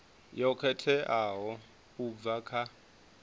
yo khetheaho u bva kha